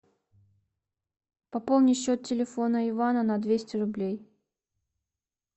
пополни счет телефона ивана на двести рублей